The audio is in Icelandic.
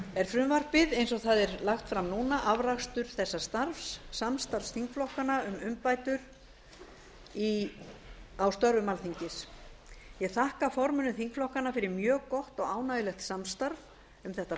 er frumvarpið eins og það er lagt fram núna afrakstur þessa starfs samstarfs þingflokkanna um umbætur á störfum alþingis ég þakka formönnum þingflokkanna fyrir mjög gott og ánægjulegt samstarf um þetta